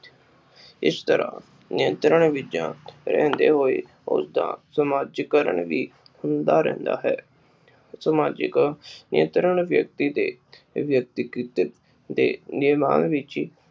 ਇਸ ਤਰ੍ਹਾਂ ਨਿਯੰਤਰਣ ਰਹਿੰਦੇ ਹੋਏ ਉਸਦਾ ਸਮਾਜੀਕਰਨ ਵੀ ਹੁੰਦਾ ਰਹਿੰਦਾ ਹੈ ਸਮਾਜਿਕ ਨਿਯੰਤਰਣ ਵਿਅਕਤੀ ਦੇ ਵਿਅਕਤੀ ਕੇ ਨਿਰਮਾਣ ਵਿਚ